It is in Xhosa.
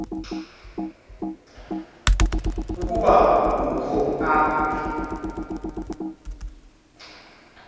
ukuba ukho apha